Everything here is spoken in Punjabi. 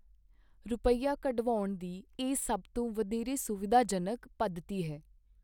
ਰੁਪੱਈਆ ਕਢਵਾਉਣ ਦੀ ਇਹ ਸਭ ਤੋਂ ਵਧੇਰੇ ਸੁਵਿਧਾਜਨਕ ਪੱਧਤੀ ਹੈ।